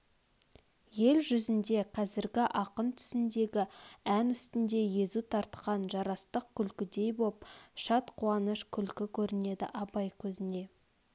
ел жүзінде қазргі ақын түсіндегі ән үстнде езу тартқан жарастық күлкідей боп шат қуаныш күлкі көрнеді абай көзне